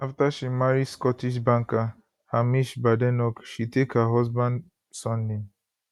afta she marry scottish banker hamish badenoch she take her husband surname